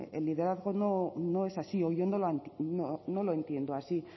el liderazgo no es así no lo entiendo así